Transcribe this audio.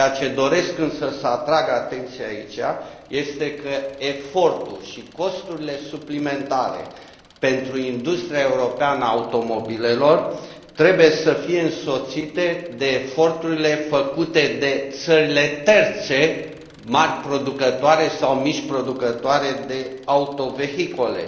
Doresc însă să atrag atenția aici că efortul și costurile suplimentare pentru industria europeană a automobilelor trebuie să fie însoțite de eforturile făcute de țările terțe mari producătoare sau mici producătoare de autovehicule.